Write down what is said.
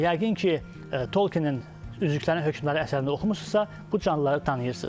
Yəqin ki, Tolkinin üzüklərin hökmdarı əsərini oxumusunuzsa, bu canlıları tanıyırsınız.